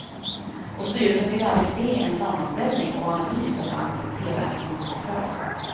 Och styrelsen fick aldrig se en sammanställning och analys av bankens hela kreditportfölj.